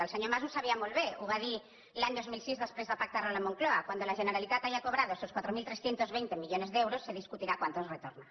el senyor mas ho sabia molt bé ho va dir l’any dos mil sis després de pactarlo a la moncloa cuando la generalitat haya cobrado esos quatre mil tres cents i vint millones de euros se discutirá cuántos retorna